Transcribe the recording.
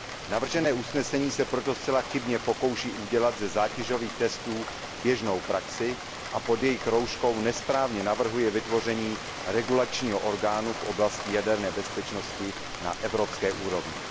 Navržené usnesení se proto zcela chybně pokouší udělat ze zátěžových testů běžnou praxi a pod jejich rouškou nesprávně navrhuje vytvoření regulačního orgánu v oblasti jaderné bezpečnosti na evropské úrovni.